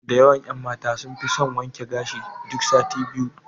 Da yawan ƴan mata sun fi son wanke gashi duk sati biyu.